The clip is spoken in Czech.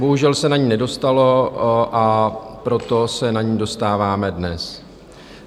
Bohužel se na ni nedostalo, a proto se na ni dostáváme dnes.